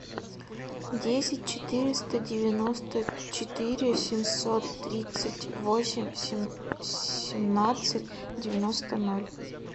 десять четыреста девяносто четыре семьсот тридцать восемь семнадцать девяносто ноль